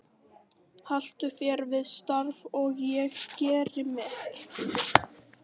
Haltu þér við þitt starf og ég geri mitt.